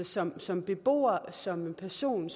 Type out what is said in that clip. som som beboer som person